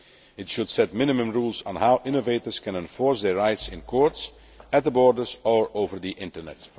It should set minimum rules on how innovators can enforce their rights in courts, at the borders or over the Internet.